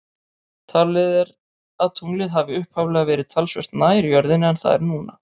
Talið er að tunglið hafi upphaflega verið talsvert nær jörðinni en það er núna.